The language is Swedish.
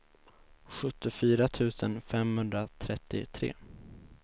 sjuttiofyra tusen femhundratrettiotre